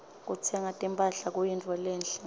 kutsenga timphahla kuyintfo lenhle